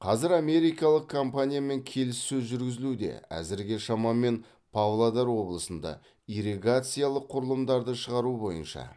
қазір америкалық компаниямен келіссөз жүргізілуде әзірге шамамен павлодар облысында ирригациялық құрылымдарды шығару бойынша